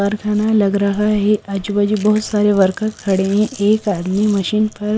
वारखाना लग रहा है आजूबाजू बहुत सारे वर्कर खड़े हैं एक आदमी मशीन पर --